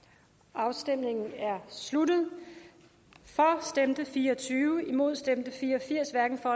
afstemningen er sluttet for stemte fire og tyve imod stemte fire og firs hverken for